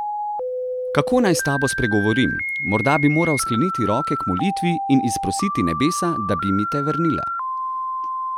Kako naj s tabo spregovorim, morda bi moral skleniti roke k molitvi in izprositi nebesa, da bi mi te vrnila?